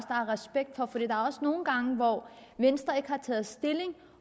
respekt for der er også nogle gange hvor venstre ikke har taget stilling